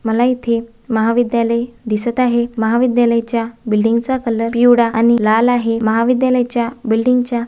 मला येथे महाविद्यालय दिसत आहे महाविद्यालयाच्या बिल्डिंग चा कलर पिवळा आणि लाल आहे महाविद्यालयाच्या बिल्डिंग च्या--